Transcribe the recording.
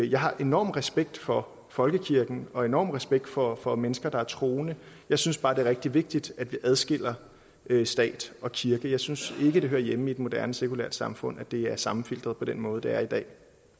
jeg har enorm respekt for folkekirken og enorm respekt for for mennesker der er troende jeg synes bare det er rigtig vigtigt at vi adskiller stat og kirke jeg synes ikke det hører hjemme i et moderne sekulært samfund at det er sammenfiltret på den måde det er i dag